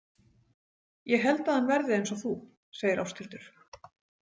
Ég held að hann verði eins og þú, segir Ásthildur.